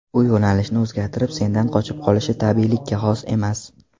U yo‘nalishni o‘zgartirib sendan qochib qolishi tabiiylikka xos emas”.